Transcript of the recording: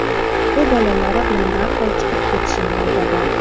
U bolalari bilan darhol chiqib ketishini aytadi.